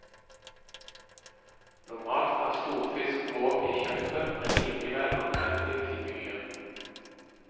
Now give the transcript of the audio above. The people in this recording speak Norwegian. Normalt er stor fisk grov i kjøttet, men likevel anvendelig til mye.